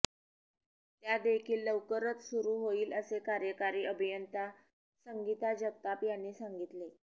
त्यादेखील लवकरच सुरु होईल असे कार्यकारी अभियंता संगीता जगताप यांनी सांगितले